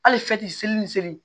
Hali seli ni seli